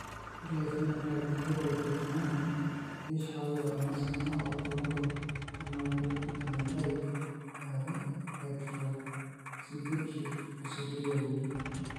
Ore ephenotype ontology etung'ani neishooyo enasiana oorbulabul onaapuku emethyl are hydroxybutyric aciduria uni .